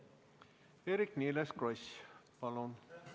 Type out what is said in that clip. Eerik-Niiles Kross, palun!